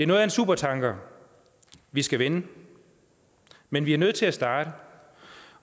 noget af en supertanker vi skal vende men vi er nødt til at starte